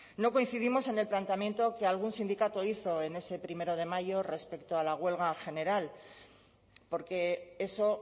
no coincidimos en el planteamiento que algún sindicato hizo en ese primero de mayo respecto a la huelga general porque eso